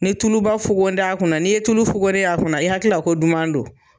Ni ye tuluba fogo nin t'a kunna, n'i ye tulu fogore a kunna i hakilila ko duman don